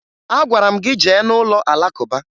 Agwara m gị jee n'ụlọ Alakụba